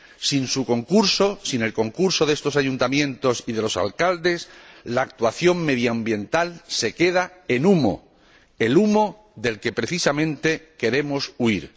Sin su concurso, sin el concurso de estos ayuntamientos y de los alcaldes, la actuación medioambiental se queda en humo, el humo del que precisamente queremos huir.